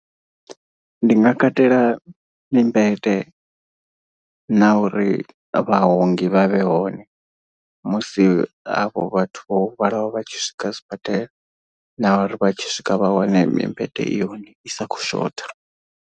Ndi nga katela mimbete, na uri vhaongi vha vhe hone musi hafho vhathu vho vhalaho vhatshi swika sibadela na uri vhatshi swika vha wane mimbete i hone i sa kho shotha.